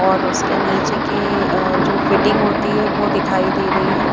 और उसके नीचे के अह जो फिटिंग होती है वो दिखाई दे रही है।